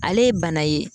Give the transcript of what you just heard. Ale ye bana ye